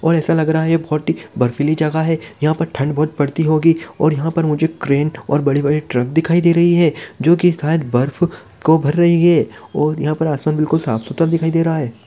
और ऐसा लग रहा है बहुत ही बर्फीली जगह है यहां पर ठंड बहुत पड़ती होगी और यहां पर मुझे क्रेन और बड़े बड़े ट्रक दिखाई दे रहा है जो बर्फ को भर रही है और यहां पर आसमान बहुत साफ सुथरा दिखाई दे रहा है।